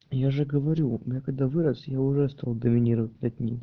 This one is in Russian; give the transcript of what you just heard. я же говорю я когда вырос я уже стал доминировать над ним